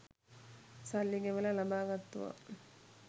සල්ලි ගෙවලා ලබා ගත්තුවා.